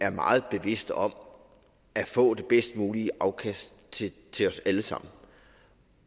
er meget bevidste om at få det bedst mulige afkast til os alle sammen